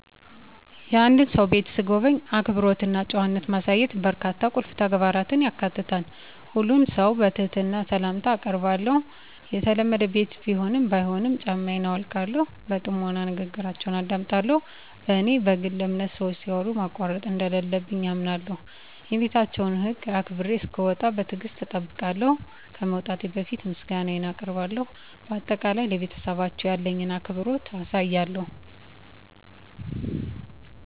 የአንድን ሰው ቤት ስጎበኝ፣ አክብሮት እና ጨዋነት ማሳየት በርካታ ቁልፍ ተግባራትን ያካትታል። ሁሉንም ሰው በትህትና ሰላምታ አአቀርባለሁ፣ የተለመደ ቤት ቢሆንም ባይሆንም ጫማየን አውልቃለሁ። በጥሞና ንግግራችውን አደምጣለሁ፣ በኔ በግል አምነት ሰወች ሲያወሩ ማቋረጥ እንደለለብኝ አምነለሁ። የቤታቸውን ህግ አክብሮ እሰክወጣ በትግሰት እጠብቃለሁ፣ ከመውጣቴ በፈት ምሰጋነየን አቀርባለሁ በአጠቃላይ፣ ለቤተሰባቸው ያለኝን አክብሮት አሳያለሁ።